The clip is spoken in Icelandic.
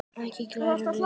Ekki við klær hans.